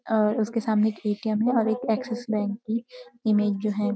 और उसके सामने एक ए.टी.एम. है और एक एक्सिस बैंक की इमेज जो हैं --